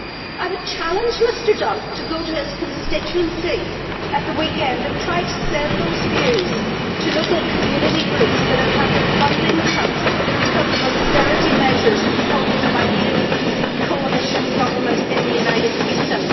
I would challenge Mr Duff to go to his constituency at the weekend and try to sell those views to local community groups that have had their funding cut because of austerity measures imposed by his coalition government in the United Kingdom.